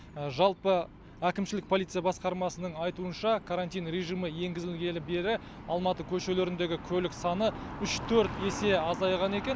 жалпы әкімшілік полиция басқармасының айтуынша карантин режимі енгізілгелі бері алматы көшелеріндегі көлік саны үш төрт есе азайған екен